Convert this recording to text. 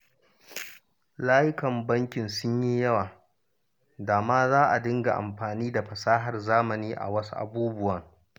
Layukan bankin sun yi yawa, da ma za su dinga amfani da fasahar zamani a wasu abubuwan